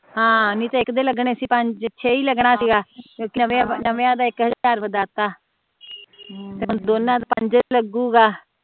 ਹਮ ਨਹੀਂ ਤਾ ਇਕ ਦੇ ਲੱਗਣੇ ਸੀ ਪੰਜ ਛੇ ਹੀ ਲੱਗਣਾ ਸੀਗਾ ਨਮੇਆਂ ਦਾ ਇਕ ਹਜ਼ਾਰ ਵੱਧਾ ਤਾ ਤੇ ਹੁਣ ਦੋਨਾਂ ਦਾ ਪੰਜ ਲੱਗੂਗਾ